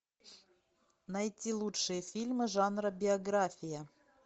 найти лучшие фильмы жанра биография